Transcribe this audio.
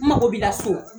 N mago b'i la so